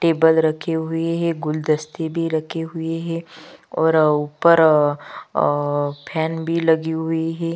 table रखी हुई है गुलदस्तती भी रखी हुई है और अ ऊपर अअअ फैन भी लगी हुई है--